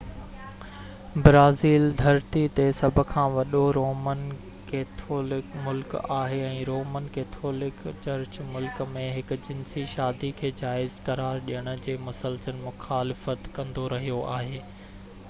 Brazil ڌرتي تي سڀ کان وڏو رومن ڪيٿولڪ ملڪ آهي ۽ رومن ڪيٿولڪ چرچ ملڪ ۾ هم-جنسي شادي کي جائز قرار ڏيڻ جي مسلسل مخالفت ڪندو رهيو آهي